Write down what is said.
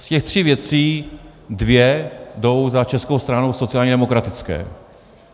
Z těch tří věcí dvě jdou za Českou stranou sociálně demokratickou.